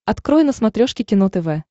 открой на смотрешке кино тв